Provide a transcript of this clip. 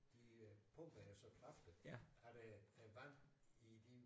De øh pumpede jo så kraftigt at øh vand i de